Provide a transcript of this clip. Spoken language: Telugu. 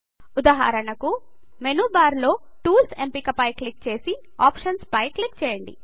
ఉదాహరణకు మేను బార్ లోని టూల్స్ ఎంపిక పై క్లిక్ చేసి ఆప్షన్స్ పై క్లిక్ చేయండి